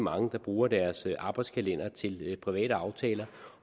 mange der bruger deres arbejdskalender til private aftaler